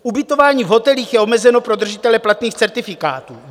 Ubytování v hotelích je omezeno pro držitele platných certifikátů.